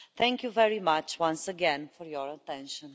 Thank you very much, once again, for your attention.